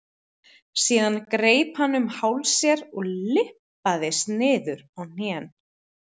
Síðan greip hann um háls sér og lyppaðist niður á hnén.